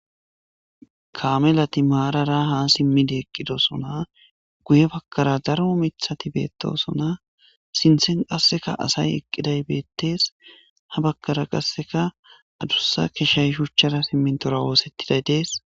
kaame lati maarara ha simmidi eqqidosona guye bakara daro mithati beettosona sinthen qasseka asay eqqiday beettes ha bakara qasseka adussa keshay shuchara simmintora woosettiday dees.